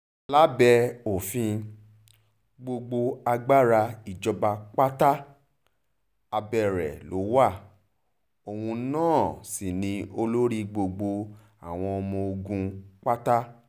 lábẹ́ òfin gbogbo agbára ìjọba pátá abẹ́ rẹ̀ ló wá òun náà sí ni olórí gbogbo àwọn ọmọ ogun pátá